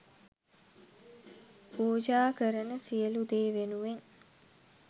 පූජා කරන සියලු දේ වෙනුවෙන්